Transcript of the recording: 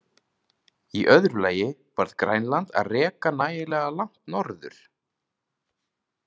Í öðru lagi varð Grænland að reka nægilega langt norður.